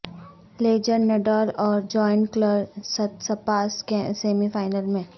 legend Nadal اور giant killer Tsitsipas semi final میں